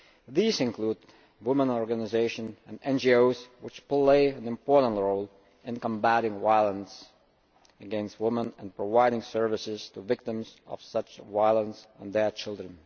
These include women's organisations and NGOs, which play an important role in combating violence against women and providing services to victims of such violence and their children.